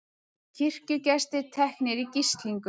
Kirkjugestir teknir í gíslingu